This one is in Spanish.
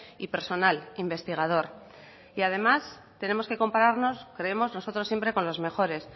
y personal investigador y además tenemos que compararnos creemos nosotros siempre con los mejores